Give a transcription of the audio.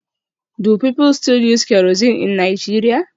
Do people still use kerosene in Nigeria?